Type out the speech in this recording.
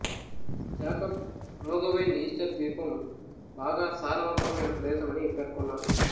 Jacob Roggeveen Easter ద్వీపం బాగా సారవంతమైన ప్రదేశమని పేర్కొన్నారు